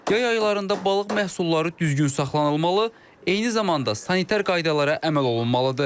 Yay aylarında balıq məhsulları düzgün saxlanılmalı, eyni zamanda sanitar qaydalara əməl olunmalıdır.